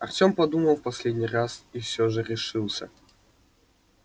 артем подумал в последний раз и все же решился